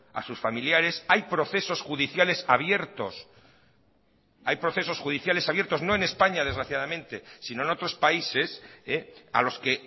a sus familiares hay procesos judiciales abiertos hay procesos judiciales abiertos no en españa desgraciadamente sino en otros países a los que